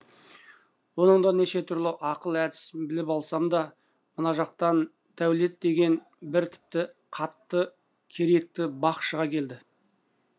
оның да неше түрлі ақыл әдісін біліп алсам да мына жақтан дәулет деген бір тіпті қатты керекті бақ шыға келді